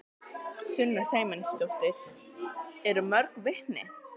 Sunna Sæmundsdóttir: Eru mörg vitni?